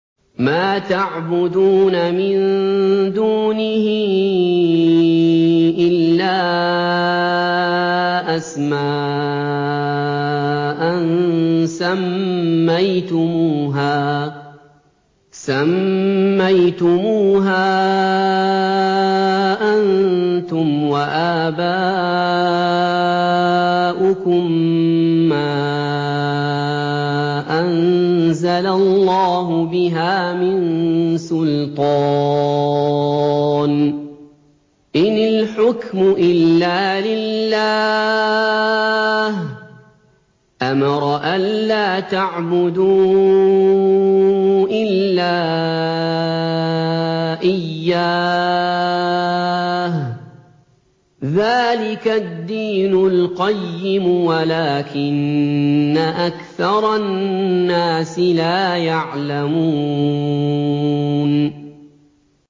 مَا تَعْبُدُونَ مِن دُونِهِ إِلَّا أَسْمَاءً سَمَّيْتُمُوهَا أَنتُمْ وَآبَاؤُكُم مَّا أَنزَلَ اللَّهُ بِهَا مِن سُلْطَانٍ ۚ إِنِ الْحُكْمُ إِلَّا لِلَّهِ ۚ أَمَرَ أَلَّا تَعْبُدُوا إِلَّا إِيَّاهُ ۚ ذَٰلِكَ الدِّينُ الْقَيِّمُ وَلَٰكِنَّ أَكْثَرَ النَّاسِ لَا يَعْلَمُونَ